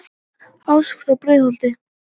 ás frá breiðholti